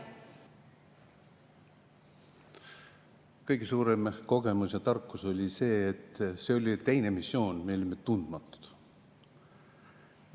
Kõige suurem kogemus ja tarkus oli see – see oli teine missioon –, et me olime tundmatud.